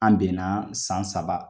An bɛn na san saba.